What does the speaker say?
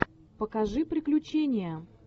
покажи приключения